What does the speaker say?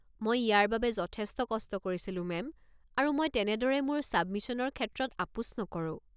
মই ইয়াৰ বাবে যথেষ্ট কষ্ট কৰিছিলো মেম, আৰু মই তেনেদৰে মোৰ ছাবমিছনৰ ক্ষেত্ৰত আপোচ নকৰো।